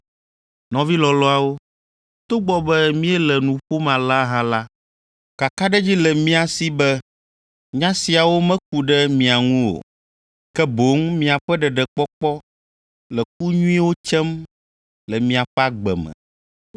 Nɔvi lɔlɔ̃awo, togbɔ be míele nu ƒom alea hã la, kakaɖedzi le mía si be nya siawo meku ɖe mia ŋu o. Ke boŋ miaƒe ɖeɖekpɔkpɔ le ku nyuiwo tsem le miaƒe agbe me.